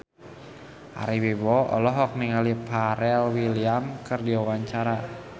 Ari Wibowo olohok ningali Pharrell Williams keur diwawancara